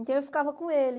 Então, eu ficava com ele.